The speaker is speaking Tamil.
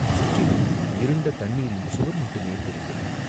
சுற்றிலும் இருண்ட தண்ணீரின் சுவர் மட்டுமே தெரிந்தது.